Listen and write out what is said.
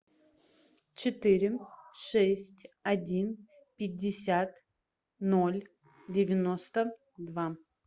четыре шесть один пятьдесят ноль девяносто два